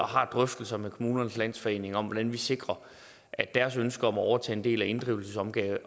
har drøftelser med kommunernes landsforening om hvordan vi sikrer at deres ønske om at overtage en del af inddrivelsesopgaven